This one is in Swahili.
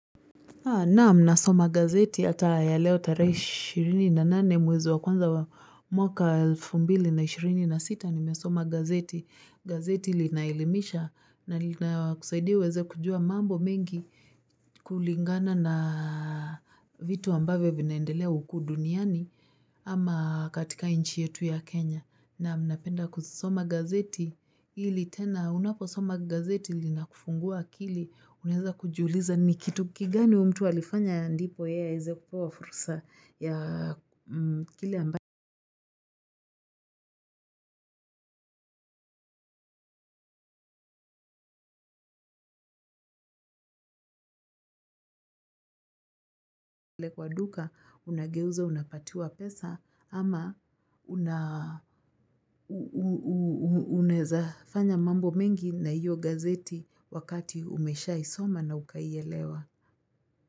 Naam nasoma gazeti hata ya leo tarehe ishirini na nane mwezi wa kwanza wa mwaka elfu mbili na ishirini na sita nimesoma gazeti. Gazeti linaelimisha na linakusaidia uweze kujua mambo mengi kulingana na vitu ambavyo vinaendelea huku duniani ama katika nchi yetu ya Kenya. Naam, napenda kusoma gazeti ili tena unaposoma gazeti linakufungua akili unaweza kujiuliza ni kitu kigani huyu mtu alifanya ndipo yeye aweze kupewa fursa ya kile kwa duka unageuza unapatiwa pesa ama unawezafanya mambo mengi na hiyo gazeti wakati umeshaisoma na ukaielewa.